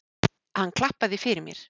Hann klappaði fyrir mér.